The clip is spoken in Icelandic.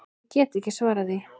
Ég get ekki svarað því.